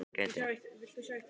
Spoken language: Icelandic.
Og tunglið líka ef ég geti.